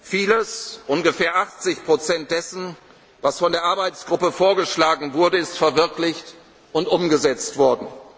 gekommen. Vieles ungefähr 80 Prozent dessen, was von der Arbeitgruppe vorgeschlagen wurde ist verwirklicht und umgesetzt